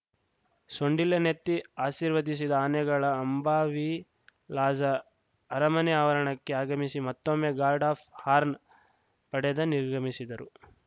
ಸೊಂಡಿಲೆನೆತ್ತಿ ಆಶೀರ್ವದಿಸಿದ ಆನೆಗಳು ಅಂಬಾವಿಲಾಸ ಅರಮನೆ ಆವರಣಕ್ಕೆ ಆಗಮಿಸಿ ಮತ್ತೊಮ್ಮೆ ಗಾರ್ಡ್‌ ಆಫ್‌ ಹಾರ್ನ ಪಡೆದು ನಿರ್ಗಮಿಸಿದರು